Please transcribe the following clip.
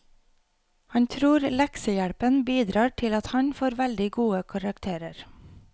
Han tror leksehjelpen bidrar til at han får veldig gode karakterer.